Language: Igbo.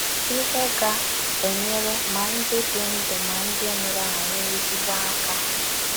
Ihe Ga - enyere Ma Ndị Dị Ndụ Ma Ndị Nwụrụ Anwụ Ezigbo Aka